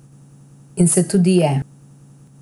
In se tudi je.